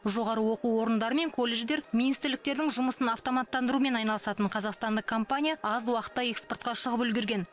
жоғары оқу орындары мен колледждер министрліктердің жұмысын автоматтандырумен айналысатын қазақстандық компания аз уақытта экспортқа шығып үлгерген